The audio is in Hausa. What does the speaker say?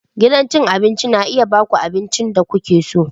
Gidan cin abinci na iya ba ku abincin da kuke so.